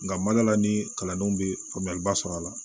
Nka madala ni kalandenw bɛ faamuyaliba sɔrɔ a la